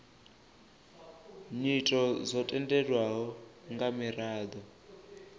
nyito dzo tendelwaho nga miraḓo